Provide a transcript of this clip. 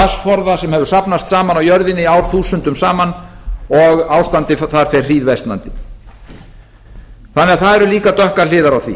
vatnsforða sem hefur safnast saman á jörðinni árþúsundum saman og ástandið þar fer hríðversnandi þannig að það eru líka dökkar hliðar á því